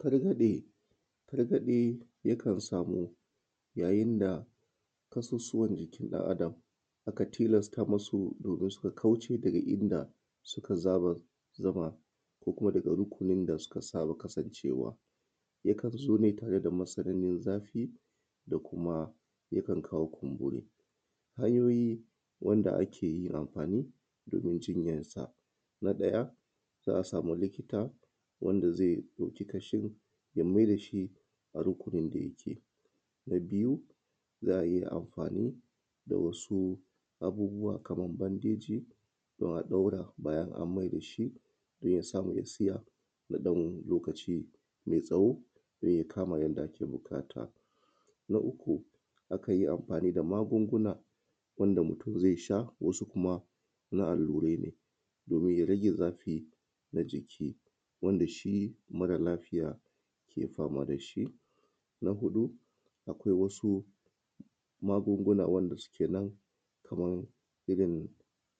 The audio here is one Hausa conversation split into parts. Targaɗe, targaɗe yakan samu yayin da ƙasussuwan jikin ɗan Adam aka tilasata musu domin su kauce daga inda suka saba zama ko kuma daga rukunin da suka saba kasancewa yakan zo ne tare da matsananin zaɓi da kuma yakan kawa kumburi. Hanyoyi da ake amfani domin jinyan sa na ɗaya za a samu lipton wanda ze ɗauki ƙashin ya mayar da shi a rukunin da yake, na biyu za a iya amfani da wasu abubbuwa kaman bandeji se a ɗan bayan an mayar da shi don ya samu ya tsaya na ɗan lokaci me tsawo domin ya kama yanda ake buƙata. Na uku akan yi amfani da magunguna wanda mutum ze sha da kuma na allurai domin rage zafi na jiki wanda shi mara lafiya ke fama da shi, na huɗu akwai wasu magunguna wanda suke nan kaman irin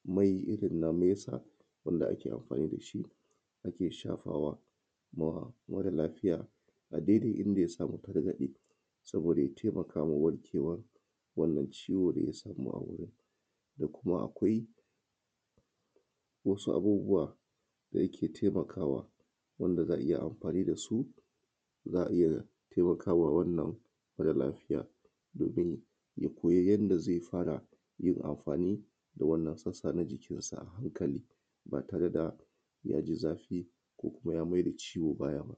mai irin na mesa wanda ake amfani da shi ake shafawa da mara lafiya a daidai inda ya samu targaɗe, saboda ya taimakama wannan warkewan ciwon da ya samu a wurin se kuma akwai wasu abubuwa da yake taimakawa wanda za a iya amfani da su. Za a iya taimakawa wannan wajen lafiya domin ya koyi yanda ze fara yin amfani da wannan sassa na jikin ya sa a hankali ba tare da ya ji zafi ko mai da ciwo baya ba.